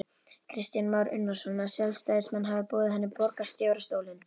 Kristján Már Unnarsson: Að sjálfstæðismenn hafi boðið henni borgarstjórastólinn?